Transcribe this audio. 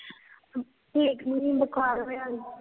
ਠੀਕ ਨੀ, ਬੁਖਾਰ ਹੋਇਆ ਉਸਨੂੰ